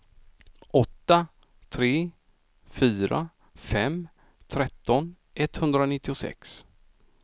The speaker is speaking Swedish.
åtta tre fyra fem tretton etthundranittiosex